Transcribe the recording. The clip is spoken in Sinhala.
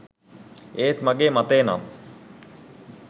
ඒත් මගේ මතය නම්